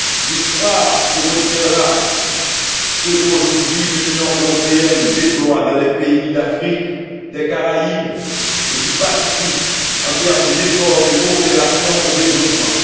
L'histoire qui retiendra ce, qu'aujourd'hui, l'Union européenne déploie dans les pays d'Afrique, des Caraïbes et du Pacifique, en termes d'effort de coopération au développement.